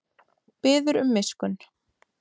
Biður um miskunn